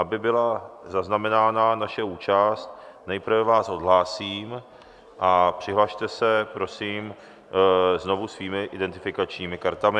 Aby byla zaznamenána naše účast, nejprve vás odhlásím a přihlaste se prosím znovu svými identifikačními kartami.